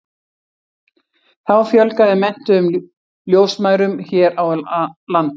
þá fjölgaði menntuðum ljósmæðrum hér á landi